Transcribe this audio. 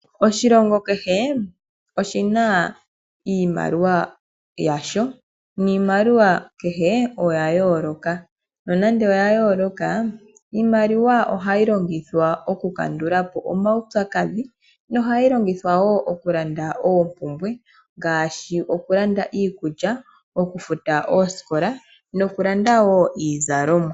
Oshilongo kehe oshina iimaliwa yasho niimaliwa kehe oya yooloka. Nonando oya yooloka, iimaliwa ohayi longithwa okukandulapo omaupyakadhi , nohayi longithwa wo okulanda oompumbwe ngaashi okulanda iikulya, okufuta oosikola nokulanda wo iizalomwa.